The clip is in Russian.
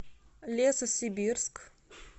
лесосибирск